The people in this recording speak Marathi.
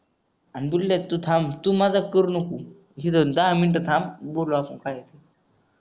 अन बुल्ल्या तू थांब तू मजाक करू नको दहा मिनिटं थांब बोलू आपण काय ते